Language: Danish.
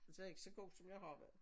Så jeg ikke så god som jeg har været